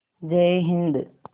जय हिन्द